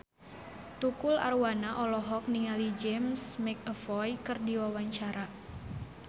Tukul Arwana olohok ningali James McAvoy keur diwawancara